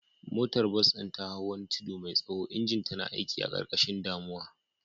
Motar bas ɗin ta hau wani tudu mai tsaho, injinta na aiki a ƙarƙashin damuwa.